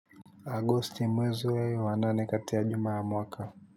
Agosti mwezi wa nane kati ya juma wa mwaka.